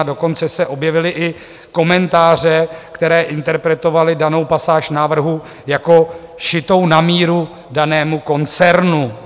A dokonce se objevily i komentáře, které interpretovaly danou pasáž návrhu jako šitou na míru danému koncernu.